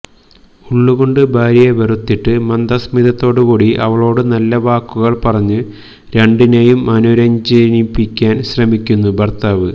ഉള്ളുകൊണ്ടു ഭാര്യയെ വെറുത്തിട്ട് മന്ദസ്മിതത്തോടുകൂടി അവളോടു നല്ല വാക്കുകള് പറഞ്ഞ് രണ്ടിനേയും അനുരഞ്ജിപ്പിക്കാന് ശ്രമിക്കുന്നു ഭര്ത്താവ്